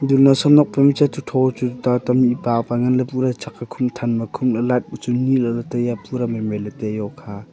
du naosem nok phai ma chatchu tho chu tuta ta mihpa pa ngan ley pura chak ae khum than ma khum lah ley apa chu nye lah ley taiya pura mai mai ley taiya okha ah .